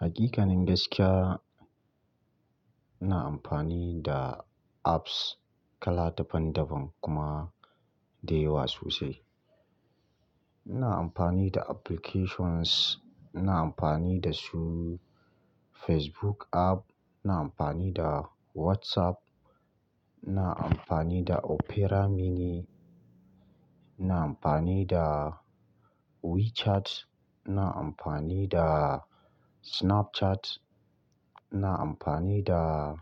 Hakikanin gaskiya, ina amfani da apps kala daban daban kuma da yawa sosai. Ina amfani da applications, ina amfani da su Facebook app, ina amfani da WhatsApp, ina amfani da Opera Mini, ina amfani da WeChat, ina amfani da Snapchat, ina amfani da,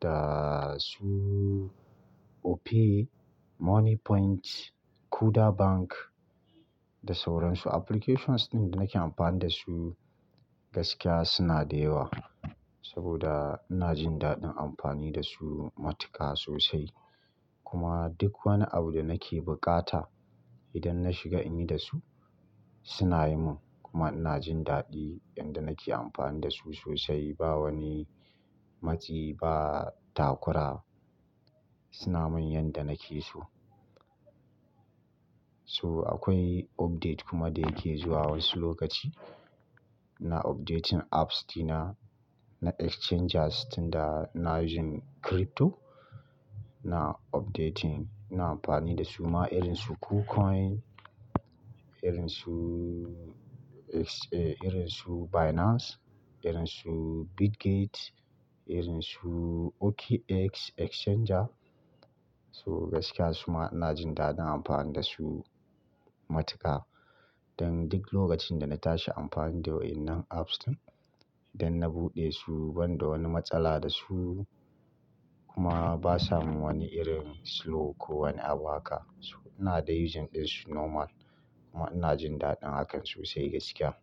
da su Opay, Moniepoint, Kuda Bank da sauran su. Applications ɗin da nake amfani da su gaskiya suna da yawa, saboda ina jin daɗin amfani da su matuka sosai. Kuma duk wani abu da nake bukata idan na shiga in yi da su, suna yi mun. Kuma ina jin daɗi inda nake amfani da su sosai, ba wani matsi ba takura, suna min yanda nake so. To akwai update kuma da yake zuwa wasu lokaci, ina updating apps ɗina, na exchangers tun da ina using crypto, ina updating, ina amfani da su ma irin su Kucoin, irin su, irin su Binance, irin su Bitgate, irin su OKX exchanger. So gaskiya su ma ina jin daɗin amfani da su matuka. Dan duk lokacin da na tashi amfani da waɗannan apps ɗin, idan na buɗe su, ban da wani matsala da su kuma basa mun wani irin slow ko wani abuhaka. So ina dai using ɗin su normal kuma ina jin daɗin hakan sosai gaskiya.